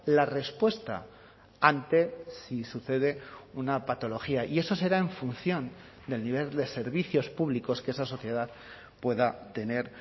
la respuesta ante si sucede una patología y eso será en función del nivel de servicios públicos que esa sociedad pueda tener